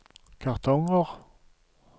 kartonger